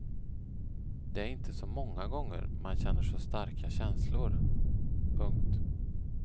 Det är inte så många gånger man känner så starka känslor. punkt